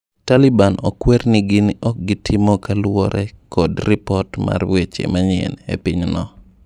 Taliban okwer ni gin okgitimo kaluore kod lipot mar weche manyien epiny no.